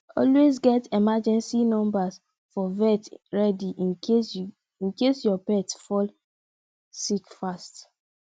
always get emergency numbers for vet ready in case your pet fall sick fast